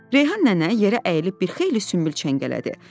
Reyhan nənə yerə əyilib bir xeyli sümbül çəngələdi.